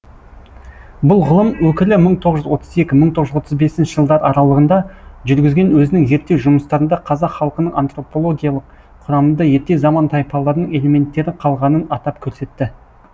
бұл ғылым өкілі мың тоғыз жүз отыз екі мың тоғыз жүз отыз бесінші жылдар аралығында жүргізген өзінің зерттеу жұмыстарында қазақ халқының антропологиялық құрамында ерте заман тайпаларын элементтері қалғанын атап көрсетті